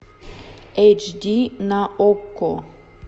эйч ди на окко